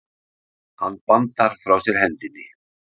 Hann bandar frá sér hendinni.